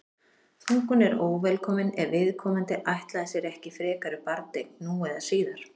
þungun er óvelkomin ef viðkomandi ætlaði sér ekki frekari barneign nú eða síðar